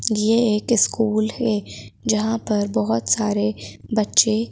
यह एक स्कूल है जहां पर बहुत सारे बच्चे--